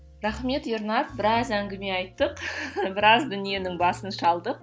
рахмет ернар біраз әңгіме айттық біраз дүниенің басын шалдық